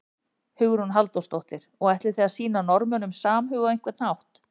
Hugrún Halldórsdóttir: Og ætlið þið að sýna Norðmönnum samhug á einhvern hátt?